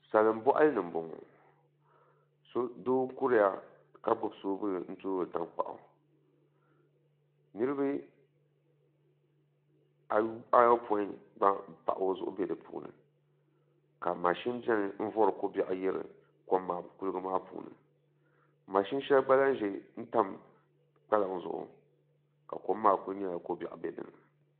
Salin boɣali ni n boŋo doo n kuriya ka gbuni soobul n toori tankpaɣu niraba ayopoin gba n pahi o zuɣu bɛ di puuni ka mashin ʒɛya n vori ko biɛɣu yiri kuligi maa puuni mashin shɛli gba lahi ʒɛya n tam dalibo zuɣu ka kom maa ku nyɛla ko biɛɣu n bɛ dinni